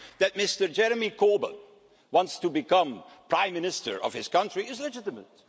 That Jeremy Corbyn wants to become Prime Minister of his country is legitimate.